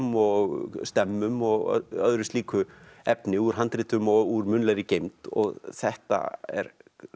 og stemmum og öðru slíku efni úr handritum og úr munnlegri geymd þetta er